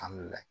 Alihamudulila